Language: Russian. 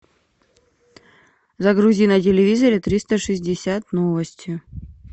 загрузи на телевизоре триста шестьдесят новости